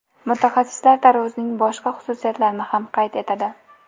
Mutaxassislar tarvuzning boshqa xususiyatlarini ham qayd etadi.